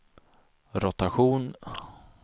rotation